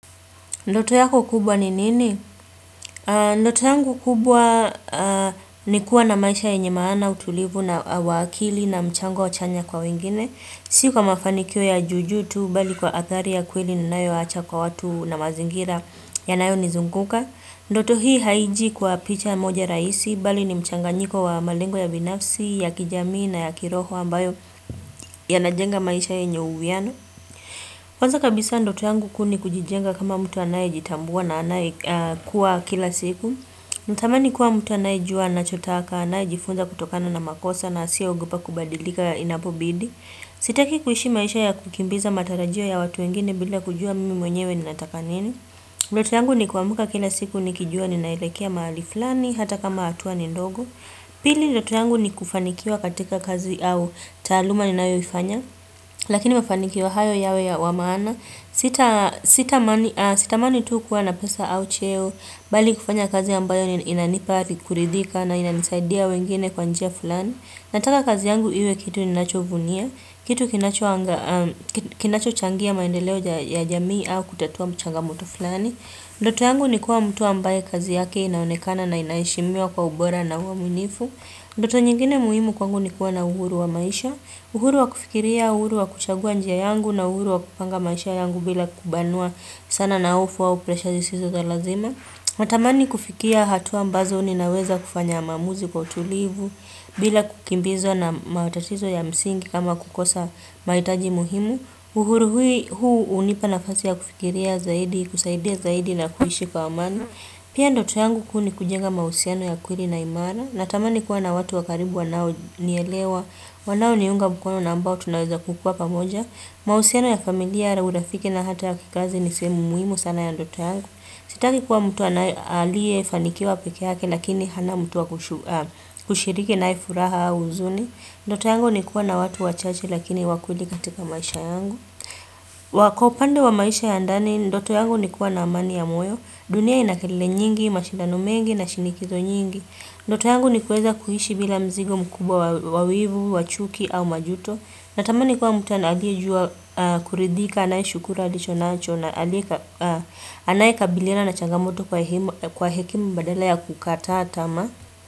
Ndoto yako kubwa ni nini? Ndoto yangu kubwa ni kuwa na maisha yenye maana utulivu na uwakili na mchango chanya kwa wengine. Si kwa mafanikio ya juu juu tu, bali kwa athari ya kweli ninayowacha kwa watu na mazingira yanayonizunguka. Ndoto hii haiji kwa picha moja rahisi, bali ni mchanganyiko wa malengo ya binafsi, ya kijamii na ya kiroho ambayo yanajenga maisha yenye uwiano. Kwanza kabisa ndoto yangu kuu ni kujijenga kama mtu anayejitambua na anayekuwa kila siku. Natamani kuwa mtu anayejua anachotaka, anayejifunza kutokana na makosa na asiyeogopa kubadilika inapobidi. Sitaki kuishi maisha ya kukimbiza matarajio ya watu wengine bila kujua mimi mwenyewe ninataka nini. Ndoto yangu ni kuamka kila siku nikijua ninaelekea mahali fulani hata kama hatua ni ndogo. Pili ndoto yangu ni kufanikiwa katika kazi au taaluma ninayoifanya. Lakini mafanikio hayo yawe ya maana Sitamani tu kuwa na pesa au cheo Bali kufanya kazi ambayo inanipa kuridhika na inanisaidia wengine kwa njia fulani Nataka kazi yangu iwe kitu ninachovunia kitu kinachochangia maendeleo ya jamii au kutatua changamto fulani Ndoto yangu ni kuwa mtu ambaye kazi yake inaonekana na inaheshimiwa kwa ubora na uaminifu Ndoto nyingine muhimu kwangu ni kuwa na uhuru wa maisha uhuru wa kufikiria, uhuru wa kuchagua njia yangu na uhuru wa kupanga maisha yangu bila kubanwa sana na hofu au presha zisizo za lazima. Natamani kufikia hatua ambazo ninaweza kufanya maamuzi kwa utulivu bila kukimbizwa na matatizo ya msingi kama kukosa mahitaji muhimu. Uhuru huu hunipa nafasi ya kufikiria zaidi, kusaidia zaidi na kuishi kwa amani. Pia ndoto yangu kuu ni kujenga mahusiano ya kweli na imara. Natamani kuwa na watu wa karibu wanaonielewa. Wanaoniunga mkono na ambao tunaweza kukuwa pamoja. Mahusiano ya familia na urafiki na hata ya kikazi ni sehemu muhimu sana ya ndoto yangu. Sitaki kuwa mtu aliyefanikiwa peke yake lakini hana mtu wa kushiriki naye furaha au huzuni. Ndoto yangu ni kuwa na watu wachache lakini wa kweli katika maisha yangu. Kwa upande wa maisha ya ndani, ndoto yangu ni kuwa na amani ya moyo dunia ina kelele nyingi, mashindano mengi na shinikizo nyingi Ndoto yangu ni kuweza kuishi bila mzigo mkubwa wa wivu, wa chuki au majuto Natamani kuwa mtu aliyejua kuridhika, anayeshukuru, alicho nacho Anayekabiliana na changamoto kwa hekima badala ya kukataa tamaa.